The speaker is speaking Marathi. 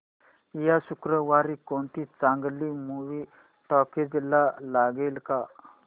या शुक्रवारी कोणती चांगली मूवी टॉकीझ ला लागेल का